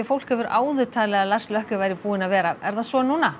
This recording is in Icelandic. fólk hefur áður talið að Lars væri búinn að vera er það svo núna